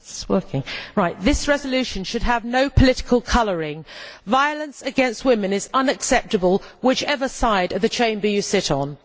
Madam President, this resolution should have no political colouring violence against women is unacceptable whichever side of the Chamber you sit on.